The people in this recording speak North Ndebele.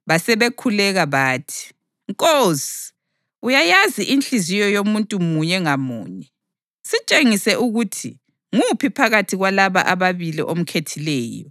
Basebekhuleka bathi, “Nkosi, uyayazi inhliziyo yomuntu munye ngamunye. Sitshengise ukuthi nguphi phakathi kwalaba ababili omkhethileyo